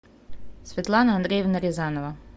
светлана андреевна рязанова